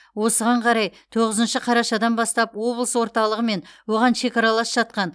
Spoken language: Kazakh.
осыған қарай тоғызыншы қарашадан бастап облыс орталығы мен оған шекаралас жатқан